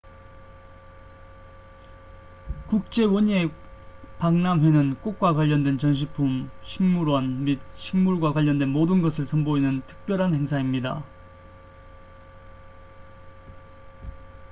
국제 원예 박람회는 꽃과 관련된 전시품 식물원 및 식물과 관련된 모든 것을 선보이는 특별한 행사입니다